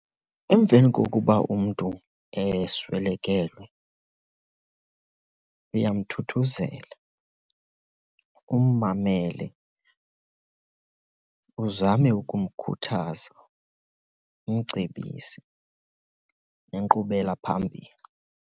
Emveni kokuba umntu eswelekelwe uyamthuthuzela, ummamele, uzame ukumkhuthaza, umcebise nenkqubela phambili.